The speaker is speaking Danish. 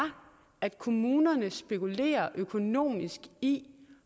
at kommunerne spekulerer økonomisk i